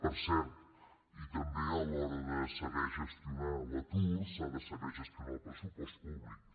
per cert i també a l’hora de saber gestionar l’atur s’ha de saber gestionar el pressupost públic